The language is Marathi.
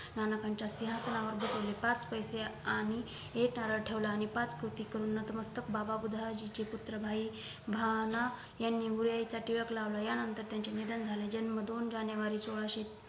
नानकांच्या सिंहासनावर बसवले पाच पैसे आणि एक नारळ ठेवला आणि पाच पोथी करून नतमस्तक बाबा बुधळाजीचे पुत्र भाई भाना यांनी अनुयायीचा टिळक लावला या नंतर त्यांचे निधन झाले जन्म दोन जानेवारी सोलाहशे